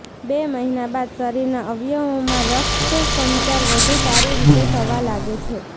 બે મહિના બાદ શરીરના અવયવોમાં રકત સંચાર વધુ સારી રીતે થવા લાગે છે